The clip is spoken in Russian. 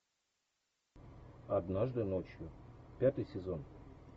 однажды ночью пятый сезон